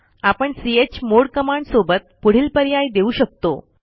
आपण chmod command सोबत पुढील पर्याय देऊ शकतो